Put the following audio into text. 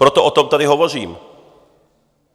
Proto o tom tady hovořím.